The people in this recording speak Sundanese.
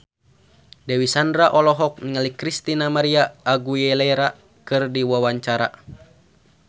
Dewi Sandra olohok ningali Christina María Aguilera keur diwawancara